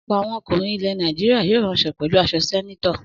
Ọ̀pọ̀ àwọn ọkùnrin ilẹ̀ Nàìjíríà yóò ránṣọ pẹ̀lú aṣọ sẹ́nétọ̀.